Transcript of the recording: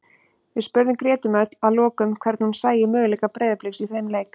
Við spurðum Gretu Mjöll að lokum hvernig hún sæi möguleika Breiðabliks í þeim leik.